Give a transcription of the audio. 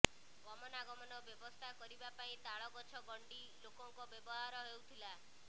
ଗମନାଗମନ ବ୍ୟବସ୍ଥା କରିବା ପାଇଁ ତାଳ ଗଛ ଗଣ୍ଡି ଲୋକଙ୍କ ବ୍ୟବହାର ହେଉଥିଲା